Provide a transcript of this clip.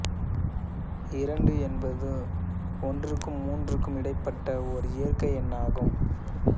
இரண்டு என்பது ஒன்றிற்கும் மூன்றிற்கும் இடைப்பட்ட ஓர் இயற்கை எண்ணாகும்